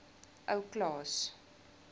ou klaas